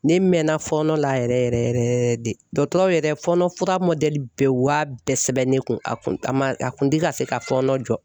Ne mɛnna fɔɔnɔ la yɛrɛ yɛrɛ yɛrɛ de, dɔgɔtɔrɔ yɛrɛ fɔɔnɔ fura mɔdɛli bɛɛ, u y'a bɛɛ sɛbɛn ne kun, a kun a ma a kun tɛ ka se ka fɔɔnɔ